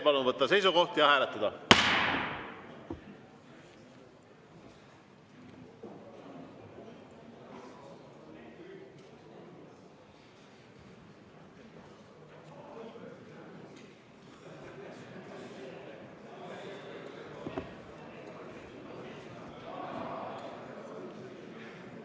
Palun võtta seisukoht ja hääletada!